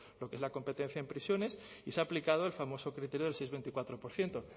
lo que es la competencia en prisiones y se ha aplicado el famoso criterio del seis coma veinticuatro por ciento